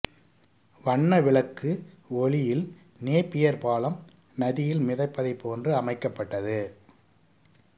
வண்ண விளக்கு ஒளியில் நேப்பியர் பாலம் நதியில் மிதப்பதைப் போன்று அமைக்கப்பட்டது